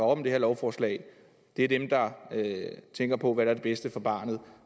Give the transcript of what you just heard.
om det her lovforslag er dem der tænker på hvad der er det bedste for barnet